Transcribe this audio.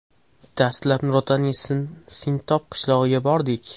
Dastlab Nurotaning Sintob qishlog‘iga bordik.